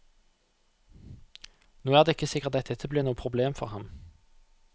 Nå er det ikke sikkert at dette blir noe problem for ham.